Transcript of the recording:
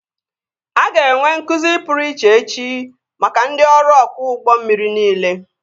A ga-enwe nkụzi pụrụ iche echi maka ndị ọrụ ọkwọ ụgbọ mmiri niile